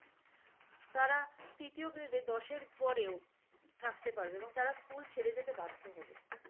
তারা তৃতীয় দশের পরেও থাকতে পারবে এবং তারা স্কুল ছেড়ে যেতে বাধ্য হবে।